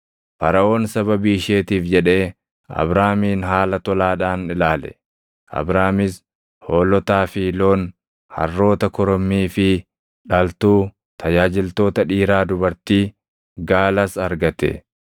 Faraʼoon sababii isheetiif jedhee Abraamin haala tolaadhaan ilaale; Abraamis hoolotaa fi loon, harroota korommii fi dhaltuu, tajaajiltoota dhiiraa dubartii, gaalas argate.